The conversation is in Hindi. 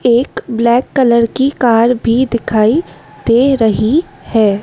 एक ब्लैक कलर की कार भी दिखाई दे रही है।